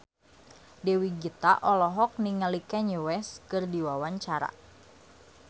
Dewi Gita olohok ningali Kanye West keur diwawancara